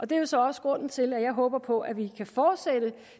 det er jo så også grunden til at jeg håber på at vi kan fortsætte